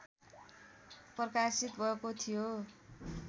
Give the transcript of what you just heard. प्रकाशित भएको थियो